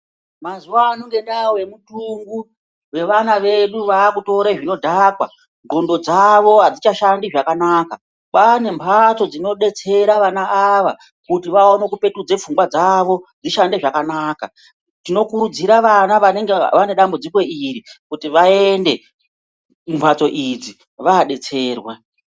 Mazuva ano ngengaa yemutungu yevana vedu vakutore zvinodhakwa ndxondo dzavo hadzichashandi zvakanaka. Kwane mhatso dzinobetsera vana ava kuti vaone kupetudze pfungwa dzavo dzishande zvakanaka. Tinokurudzira vana vanenge vane dambudziko iri kuti vaende kumhatso idzi vabetserwe.